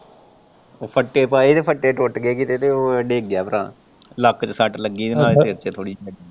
ਉਹ ਫੱਟੇ ਪਾਏ ਹੀ ਤੇ ਫੱਟੇ ਟੁੱਟ ਗਏ ਕਿਤੇ ਤੇ ਉਹ ਡਿੱਗ ਗਿਆ ਭਰਾ ਲੱਕ ਤੇ ਸੱਟ ਲੱਗੀ ਨਾਲੇ ਸਿਰ ਤੇ ਥੋੜੀ ਜਿਹੀ।